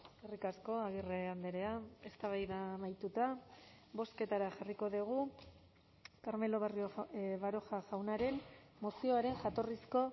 eskerrik asko agirre andrea eztabaida amaituta bozketara jarriko dugu carmelo barrio baroja jaunaren mozioaren jatorrizko